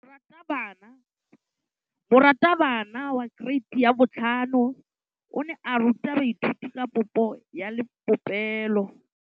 Moratabana wa kereiti ya 5 o ne a ruta baithuti ka popô ya polelô.